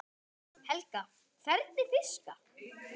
Helga: Hvernig fiska?